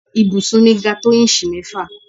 ibùsùn mi ga tó íǹsì mẹ́fà